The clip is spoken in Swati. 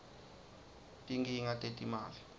tinkhinga tetimali